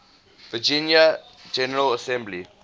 virginia general assembly